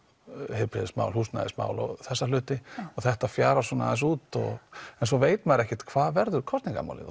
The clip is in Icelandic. heilbrigðismál húsnæðismál og þessa hluti og þetta fjarar svona aðeins út en svo veit maður ekkert hvað verður kosningamálið og